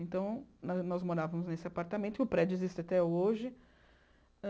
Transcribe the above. Então, nós nós morávamos nesse apartamento, e o prédio existe até hoje...